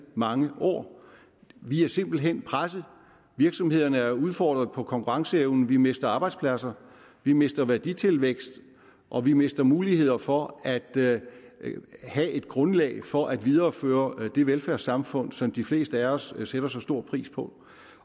mange år vi er simpelt hen presset virksomhederne er udfordret på konkurrenceevnen vi mister arbejdspladser vi mister værditilvækst og vi mister muligheder for at have et grundlag for at videreføre det velfærdssamfund som de fleste af os sætter så stor pris på